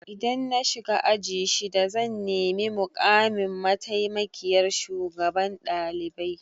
Idan na shiga aji shida zan nemi mukamin mataimakiyyar shugaban ɗalibai.